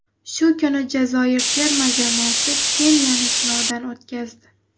Shu kuni Jazoir terma jamoasi Keniyani sinovdan o‘tkazdi.